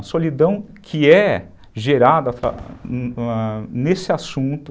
A solidão que é gerada nesse assunto.